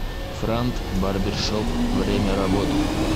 франт барбершоп время работы